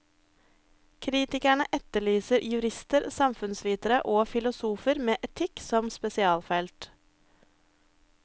Kritikerne etterlyser jurister, samfunnsvitere og filosofer med etikk som spesialfelt.